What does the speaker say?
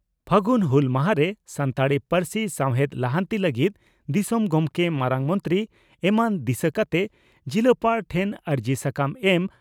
ᱯᱷᱟᱹᱜᱩᱱ ᱦᱩᱞ ᱢᱟᱦᱟᱨᱮ ᱥᱟᱱᱛᱟᱲᱤ ᱯᱟᱹᱨᱥᱤ ᱥᱟᱣᱦᱮᱫ ᱞᱟᱦᱟᱱᱛᱤ ᱞᱟᱹᱜᱤᱫ ᱫᱤᱥᱚᱢ ᱜᱚᱢᱠᱮ, ᱢᱟᱨᱟᱝ ᱢᱚᱱᱛᱨᱤ ᱮᱢᱟᱱ ᱫᱤᱥᱟᱹ ᱠᱟᱛᱮ ᱡᱤᱞᱟᱯᱟᱲ ᱴᱷᱮᱱ ᱟᱹᱨᱡᱤ ᱥᱟᱠᱟᱢ ᱮᱢ